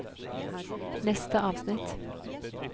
neste avsnitt